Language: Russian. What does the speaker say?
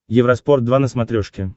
евроспорт два на смотрешке